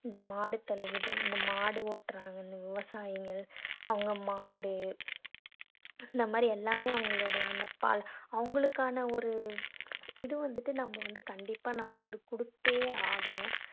இந்த மாடுத் தொழுவுகள் இந்த மாடு ஓட்டுறாங்கன்னு வவசாயிங்க அவங்க மாடு இந்த மாதிரி எல்லாமே அவங்களுடைய அந்த பாலு அவங்களுக்கான ஒரு இது வந்துட்டு நம்ம வந்து கண்டிப்பா நம்ம வந்து கொடுத்தே ஆகணும்.